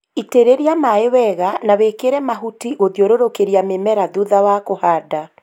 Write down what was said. Itĩrĩria maĩ wega na wĩkĩre mahuti gũthiũrũrũkĩria mĩmera thutha wa kũhanda